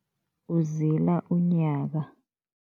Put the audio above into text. Uzila unyaka.